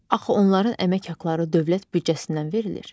Axı onların əmək haqqları dövlət büdcəsindən verilir.